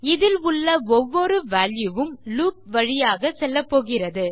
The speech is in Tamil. இதில் உள்ள ஒவ்வொரு வால்யூ உம் லூப் வழியாக செல்லப்போகிறது